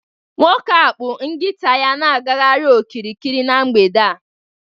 Nwoke a kpụ nkita ya na-agagharị okirikiri n'mgbede a